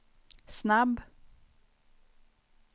snabb